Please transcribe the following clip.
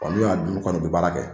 Wa n'u y'a dun kɔni u bɛ baara kɛ.